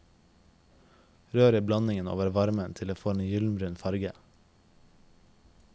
Rør i blandingen over varmen til det får en gyllenbrun farge.